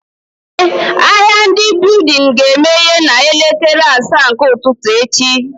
Eh, ahịa ndị building ga emeye na elekere asaa nke ụtụtụ echi